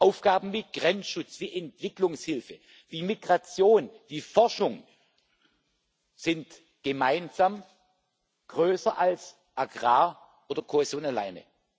Aufgaben wie Grenzschutz, wie Entwicklungshilfe, wie Migration, wie Forschung sind gemeinsam größer als der Agrarbereich oder die Kohäsion alleine.